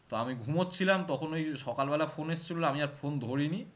তা আমি ঘুমোচ্ছিলাম তখন ঐ সকালবেলা phone এসেছিলো আমি আর phone ধরিনি